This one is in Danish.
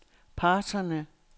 parterne